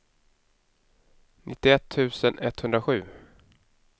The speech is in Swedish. nittioett tusen etthundrasju